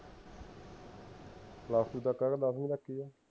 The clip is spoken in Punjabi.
plus two ਤੱਕ ਆ ਕੇ ਦਸਵੀਂ ਤੱਕ ਹੀ ਹੈ